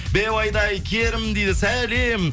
беу айдай керім дейді сәлем